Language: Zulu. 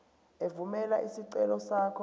evumela isicelo sakho